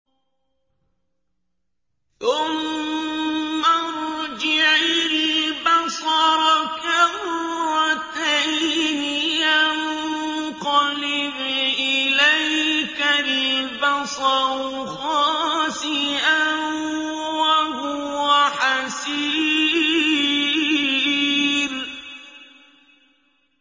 ثُمَّ ارْجِعِ الْبَصَرَ كَرَّتَيْنِ يَنقَلِبْ إِلَيْكَ الْبَصَرُ خَاسِئًا وَهُوَ حَسِيرٌ